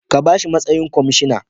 Ka bashi matsayin kwamishana